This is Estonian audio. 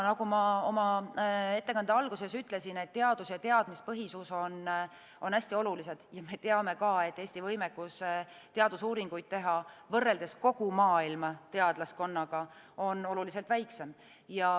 Nagu ma oma ettekande alguses ütlesin, siis teadus- ja teadmispõhisus on hästi olulised ja me teame, et Eesti võimekus teadusuuringuid teha, võrreldes kogu maailma teadlaskonnaga, on oluliselt väiksem.